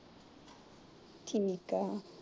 ਠੀਕ ਆ